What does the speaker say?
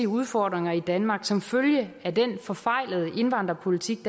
udfordringer i danmark som følge af den forfejlede indvandrerpolitik